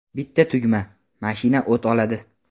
bitta tugma - mashina o‘t oladi.